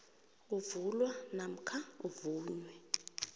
avulwa namkha avunywe